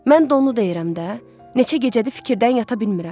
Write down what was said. Mən də onu deyirəm də, neçə gecədir fikirdən yata bilmirəm.